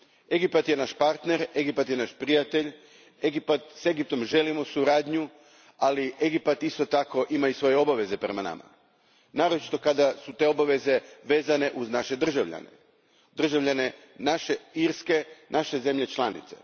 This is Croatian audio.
Egipat je naš partner, Egipat je naš prijatelj, s Egiptom želimo suradnju, ali Egipat isto tako ima svoje obveze prema nama, naročito kada su te obveze vezane uz naše državljane, državljane naše Irske, naše zemlje članice.